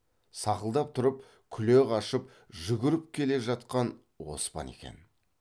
сақылдап тұрып күле қашып жүгіріп келе жатқан оспан екен